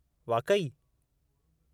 वाक़ई?